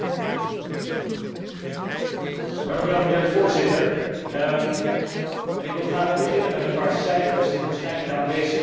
Voorzitter, ik wil graag beginnen met een paar cijfers, die waarschijnlijk de aanwezigen hier kunnen dromen, maar veel mensen hierbuiten niet.